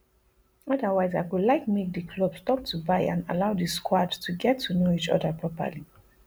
otherwise i go like make di club stop to buy and allow di squad to get to know each oda properly